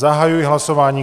Zahajuji hlasování.